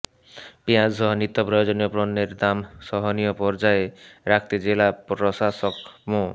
পেঁয়াজসহ নিত্য প্রয়োজনীয় পণ্যের দাম সহনীয় পর্যায়ে রাখতে জেলা প্রশাসক মো